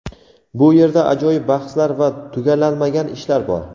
Bu yerda ajoyib bahslar va tugallanmagan ishlar bor.